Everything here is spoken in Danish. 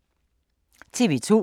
TV 2